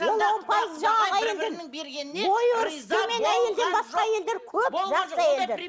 ол он пайыз жаңағы әйелден ой өрісі төмен әйелден басқа әйелдер көп жақсы әйелдер